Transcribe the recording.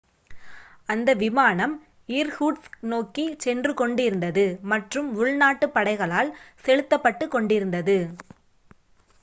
அந்த விமானம் இர்கூட்ஸ்க் நோக்கிச் சென்று கொண்டிருந்தது மற்றும் உள்நாட்டுப் படைகளால் செலுத்தப் பட்டுக் கொண்டிருந்தது